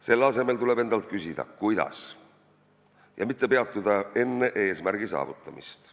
Selle asemel tuleb endalt küsida "Kuidas?" ja mitte peatuda enne eesmärgi saavutamist.